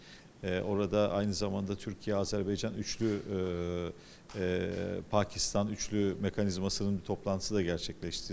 Eee orada eyni zamanda Türkiyə-Azərbaycan üçtərəfli eee eee Pakistan üçtərəfli mexanizminin bir iclası da baş tutdu.